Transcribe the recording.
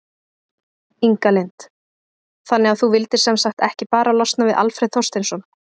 Inga Lind: Þannig að þú vildir sem sagt ekki bara losna við Alfreð Þorsteinsson?